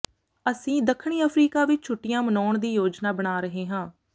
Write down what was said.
ਅਸੀਂ ਦੱਖਣੀ ਅਫ਼ਰੀਕਾ ਵਿਚ ਛੁੱਟੀਆਂ ਮਨਾਉਣ ਦੀ ਯੋਜਨਾ ਬਣਾ ਰਹੇ ਹਾਂ